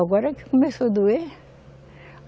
Agora que começou doer.